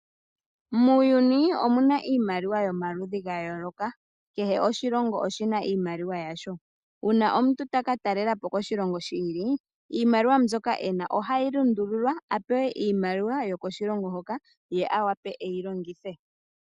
Muuyuni omuna iimaliwa yomaludhi ga yooloka. Kehe oshilongo oshina iimaliwa yasho. Uuna omuntu taka talelapo koshilongo shi ili, iimaliwa mbyoka e na ohayi lundululwa a pewe iimaliwa yokoshilongo hoka ye a wape e yi longithe.